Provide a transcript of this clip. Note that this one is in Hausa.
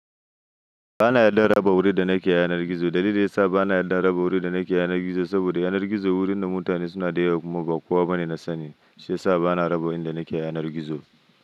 Ba na yarda raba wuri da na kr yanar gizo. Dalilin da ya sa ba na yarda raba wuri da na ke yanar gizo, saboda yanar gizo wurin da mutane suna dayawa kuma ba kowa bane na sani. Shi ya sa ba na raba wurin da na ke yanar gizo.